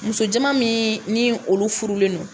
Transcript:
Musojɛman min ni olu furulen don